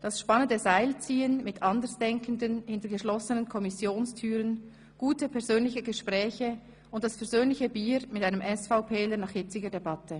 Das spannende Seilziehen mit Andersdenkenden hinter geschlossenen Kommissionstüren, gute persönliche Gespräche und das versöhnliche Bier mit einem SVPler nach hitziger Debatte.